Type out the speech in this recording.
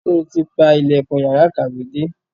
Sọ ti pa ilẹ̀kùn yàrá ìkàwé dé?